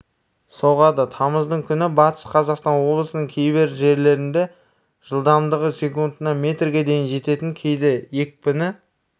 соғады тамыздың күні батыс қазақстан облысының кейбір жерлерінде жылдамдығы секундына метрге дейін жететін кейде екпіні